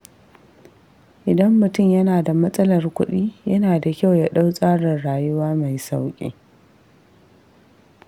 Idan mutum yana da matsalar kuɗi, yana da kyau ya ɗau tsarin rayuwa mai sauƙi.